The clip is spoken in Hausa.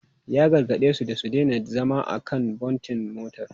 Ya gargade su da su daina zama a kan bontin motar.